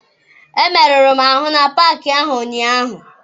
Emeruru m ahụ na paakị ahụ ụnyaahụ.